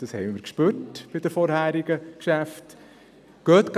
Das wurde bei den vorherigen Geschäften deutlich.